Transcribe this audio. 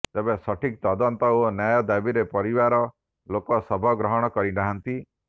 ତେବେ ସଠିକ୍ ତଦନ୍ତ ଓ ନ୍ୟାୟ ଦାବିରେ ପରିବାର ଲୋକ ଶବ ଗ୍ରହଣ କରିନାହାନ୍ତି